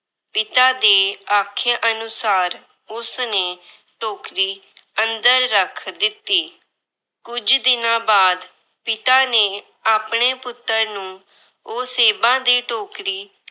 ਪਿਤਾ ਦੇ ਆਖੇ ਅਨੁਸਾਰ ਉਸਨੇ ਟੋਕਰੀ ਅੰਦਰ ਰੱਖ ਦਿੱਤੀ। ਕੁਝ ਦਿਨਾਂ ਬਾਅਦ ਪਿਤਾ ਨੇ ਆਪਣੇ ਪੁੱਤਰ ਨੂੰ ਉਹ ਸੇਬਾਂ ਦੀ ਟੋਕਰੀ